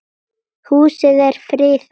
Húsið er friðað.